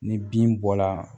Ni bin bɔla